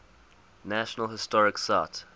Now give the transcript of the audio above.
national historic site